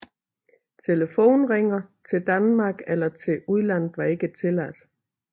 Telefoneringer til Danmark eller til udlandet var ikke tilladt